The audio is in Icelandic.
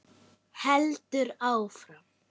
Heldur áfram: